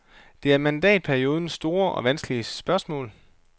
Det er mandatperiodens store og vanskelige spørgsmål.